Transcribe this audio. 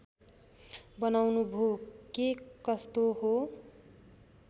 बनाउनुभो के कस्तो हो